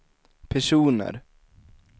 personer